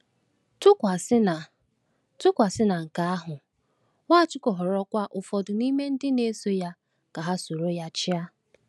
Tụkwasị na Tụkwasị na nke ahụ, Nwachukwu họrọkwa ụfọdụ n’ime ndị na-eso ya ka ha soro ya chị.